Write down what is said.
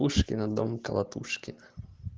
пушкина дом колотушкина